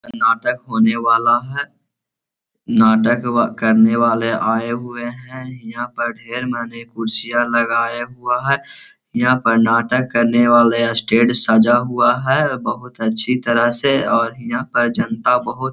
नाटक होने वाला है नाटक करने वाले आए हुए हैं यहाँ पर ढेर मनी कुर्सी आर लगाये हुए हैं यहाँ पर नाटक करने वाले स्टेज सजा हुआ है बहुत अच्छी तरह से और हीया पर जनता बहुत --